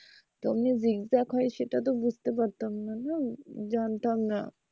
তো ওমনি zig zag হয় সেটা তো বুঝতে পারতামনা না জানতাম না।